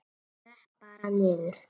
Skrepp bara niður.